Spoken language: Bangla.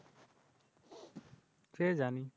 সে জানি।